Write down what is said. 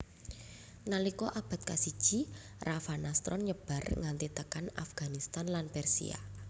Nalika abad kasiji Ravanastron nyebar nganti tekan Afghanistan lan Persia